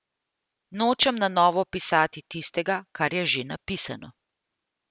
Nočem na novo pisati tistega, kar je že napisano.